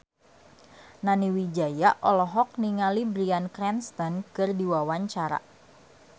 Nani Wijaya olohok ningali Bryan Cranston keur diwawancara